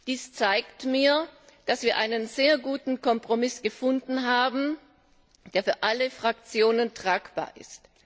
Dies zeigt mir, dass wir einen sehr guten Kompromiss gefunden haben, der für alle Fraktionen tragbar ist.